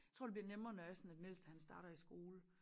Tror det bliver nemmere når det er sådan at den ældste han starter i skole